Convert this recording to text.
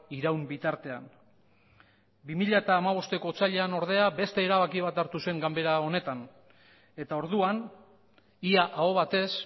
iraun bitartean bi mila hamabosteko otsailean ordea beste erabaki bat hartu zen ganbara honetan eta orduan ia aho batez